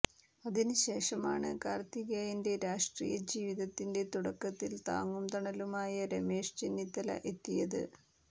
അതിന് ശേഷമാണ് കാർത്തികേയന്റെ രാഷ്ട്രീയ ജീവിതത്തിന്റെ തുടക്കത്തിൽ താങ്ങും തണലുമായ രമേശ് ചെന്നിത്തല എത്തിയത്